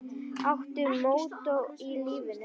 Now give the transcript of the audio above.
Áttu mottó í lífinu?